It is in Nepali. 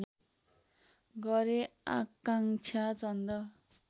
गरे अकांक्षा चन्द